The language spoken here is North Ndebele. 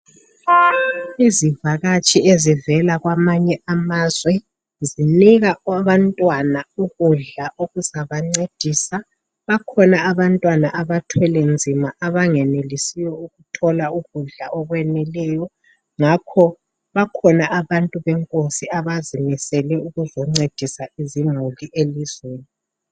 Izivakatshi ezivela kwamanye amazwe zinika abantwana ukudla okuzaba ncedisa .Bakhona abantwana abathwele nzima abangenelisiyo ukuthola ukudla okweneleyo ngakho bakhona abantu benkosi abazimiseleyo ukuzoncedisa izimuli elizweni.